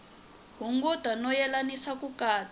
hunguta no yelanisa ku katsa